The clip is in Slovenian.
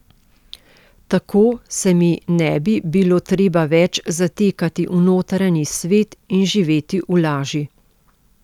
Tako se mi ne bi bilo treba več zatekati v notranji svet in živeti v laži.